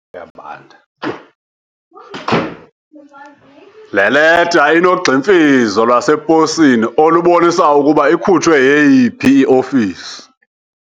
Le leta inogximfizo lwaseposini olubonisa ukuba ikhutshwe yeyiphi iofisi.